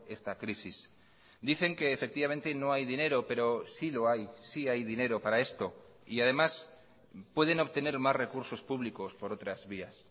esta crisis dicen que efectivamente no hay dinero pero sí lo hay sí hay dinero para esto y además pueden obtener más recursos públicos por otras vías